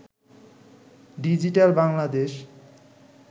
digital Bangladesh